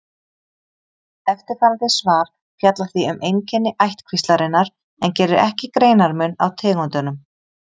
Eftirfarandi svar fjallar því um einkenni ættkvíslarinnar en gerir ekki greinarmun á tegundunum.